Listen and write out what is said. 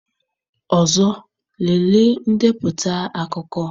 Ọzọ, lelee ndepụta akụkọ.